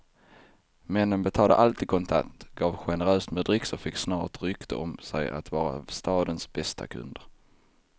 Männen betalade alltid kontant, gav generöst med dricks och fick snart rykte om sig att vara stadens bästa kunder.